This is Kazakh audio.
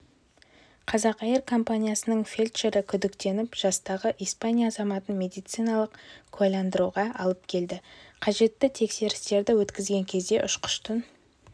қазақэйр компаниясының фельдшері күдіктеніп жастағы испания азаматын медициналық куәландыруға алып келді қажетті тексерістерді өткізген кезде ұшқыштың